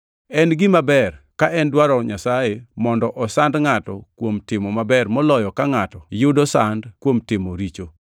En gima ber ka en dwaro Nyasaye, mondo osand ngʼato kuom timo maber moloyo ka ngʼato yudo sand kuom timo richo.